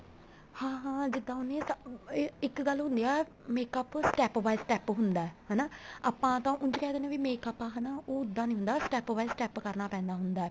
ਹਾਂ ਹਾਂ ਜਿੱਦਾਂ ਉਹਨੇ ਏ ਇੱਕ ਗੱਲ ਹੁੰਦੀ ਆ makeup step by step ਹੁੰਦਾ ਹਨਾ ਆਪਾਂ ਤਾਂ ਉੰਝ ਕਹਿ ਦਿੰਨੇ makeup ਆ ਹਨਾ ਉਹ ਉੱਦਾਂ ਨਹੀਂ ਹੁੰਦਾ step by step ਕਰਨਾ ਪੈਂਦਾ ਹੁੰਦਾ